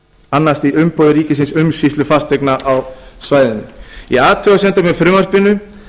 annast í umboði ríkisins umsýslu fasteigna á svæðinu í athugasemdum með frumvarpinu